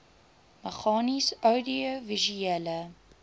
meganies oudiovisuele